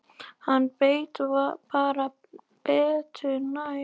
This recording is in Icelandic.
Hann veit bara betur næst.